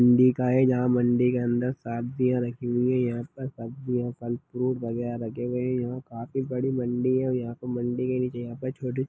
मंडी का है जहाँ पे मंडी के अंदर सब्जिया रखी हुई है आसपास सब्जिया फल फ्रूट वगेरा रखे हुए है यहाँ काफी बड़ी मंडी है और यहाँ पर मंडी के नीचे यहाँ पे छोटे--